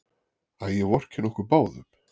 Æ, ég vorkenni okkur báðum.